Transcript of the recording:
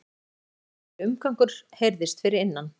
Það leið drykklöng stund þar til umgangur heyrðist fyrir innan.